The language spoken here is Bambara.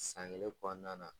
San kelen kɔnɔna na.